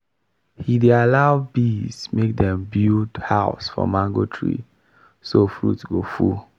he dey allow bees make dem build house for mango tree so fruit go full.